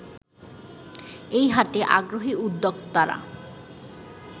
এ হাটে আগ্রহী উদ্যোক্তারা